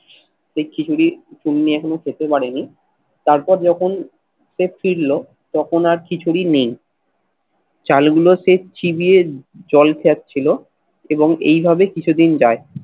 সেই খিচুড়ি চুন্নি এখনো খেতে পারেনি। তারপর যখন ফিরল তখন আর খিচুড়ি নেই। চালগুলো সে চিবিয়ে জল ছাদ ছিল এবং এইভাবে কিছুদিন যায়।